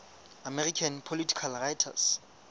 american political writers